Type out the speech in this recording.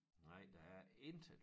Nej der er intet